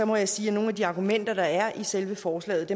må jeg sige at nogle af de argumenter der er i selve forslaget